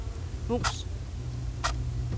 mus